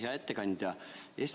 Hea ettekandja!